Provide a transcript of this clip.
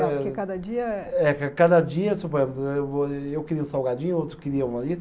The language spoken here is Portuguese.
Porque cada dia é. É, cada dia, suponhamos, eu queria um salgadinho, outro queria